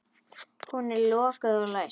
Hún er lokuð og læst.